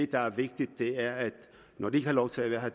der er vigtigt er at de når de ikke har lov til at være her